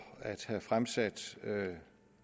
at have fremsat